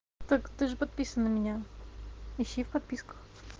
так ты же подписан на меня ищи в подписках